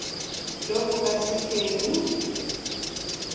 jo bo ka se keng